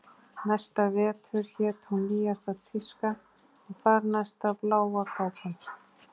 Næsta vetur hét hún Nýjasta tíska og þar næsta Bláa kápan